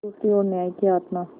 दूसरी ओर न्याय की आत्मा